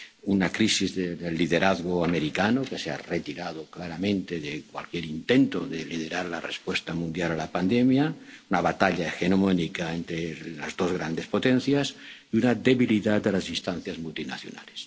señalado muy acertadamente— una crisis del liderazgo americano —los Estados Unidos se han retirado claramente de cualquier intento de liderar la respuesta mundial a la pandemia—, una batalla hegemónica ente las dos grandes potencias y una debilidad de las instancias